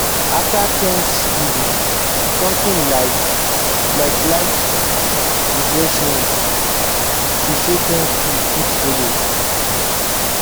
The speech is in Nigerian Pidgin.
afta thanksgiving somtin like like light refeshment to say thank you fit follow